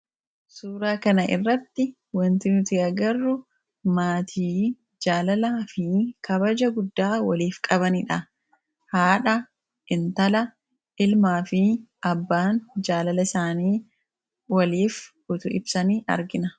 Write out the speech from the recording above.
Suuraa kana irratti wanti nuti agarru maatii jaalalaa fi kabaja guddaa waliif qabanidha. Isaanis: abbaa, haadha, hintalaa fi ilmi jaalala isaanii waliif utuu ibsanii argina.